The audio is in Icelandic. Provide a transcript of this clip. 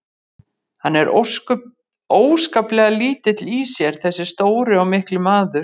Hann er óskaplega lítill í sér þessi stóri og mikli maður.